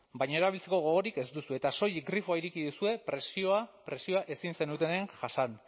baina erabiltzeko gogorik ez duzue eta soilik grifoa ireki duzue presioa ezin zenuten jasan